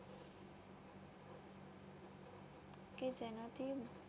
કે જેનાથી